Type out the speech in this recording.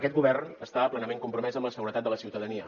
aquest govern està plenament compromès amb la seguretat de la ciutadania